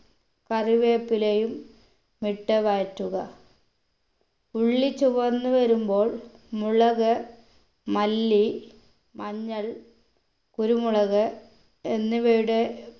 കറിവേപ്പിലയും ഇട്ട് വഴറ്റുക ഉള്ളി ചുവന്ന് വരുമ്പോൾ മുളക് മല്ലി മഞ്ഞൾ കുരുമുളക് എന്നിവയുടെ